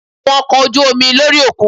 A rí àwọn ọkò ojú omi lórí òkun